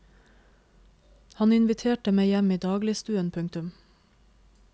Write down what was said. Han inviterte meg hjem i dagligstuen. punktum